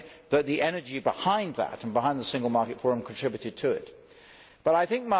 I think that the energy behind that and behind the Single Market Forum contributed to this.